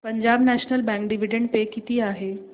Punjab National Bank dividend pay किती आहे